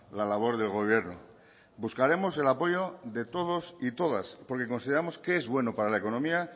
la labor del gobierno buscaremos el apoyo de todos y todas porque consideramos que es bueno para la economía